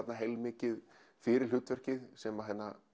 heilmikið fyrir hlutverkið sem